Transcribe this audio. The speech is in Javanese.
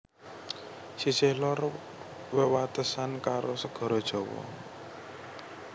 Sisih lor wewatesan karo segara Jawa